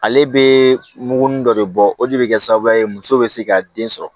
Ale bɛ muguruni dɔ de bɔ o de bɛ kɛ sababu ye muso bɛ se ka den sɔrɔ